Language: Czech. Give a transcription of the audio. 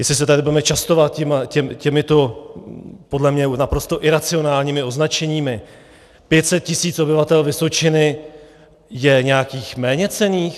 Jestli se tady budeme častovat těmito podle mě naprosto iracionálními označeními - 500 tisíc obyvatel Vysočiny je nějakých méněcenných?